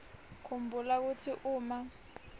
khumbula kutsi uma